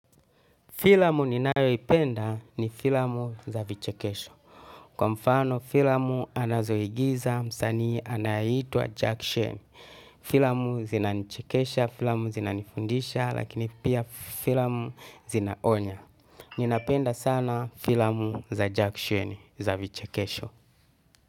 Filamu ni nayo ipenda ni filamu za vichekesho. Kwa mfano filamu anazoigiza msani anayitua jackshen. Filamu zinanichekesha, filamu zinanifundisha, lakini pia filamu zinaonya. Ninapenda sana filamu za jackshen za vichekesho.